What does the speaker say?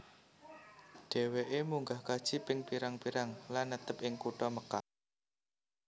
Dheweke munggah kaji ping pirang pirang lan netep ing kutha Mekkah